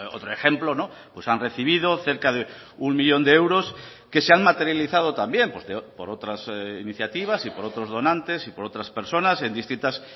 otro ejemplo han recibido cerca de uno millón de euros que se han materializado también por otras iniciativas y por otros donantes y por otras personas en distintas